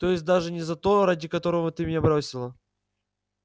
то есть даже не за того ради которого ты меня бросила